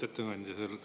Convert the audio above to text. Lugupeetud ettekandja!